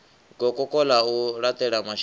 gokoko ḽa u laṱela mashika